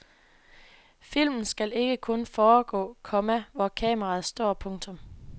Filmen skal ikke kun foregå, komma hvor kameraet står. punktum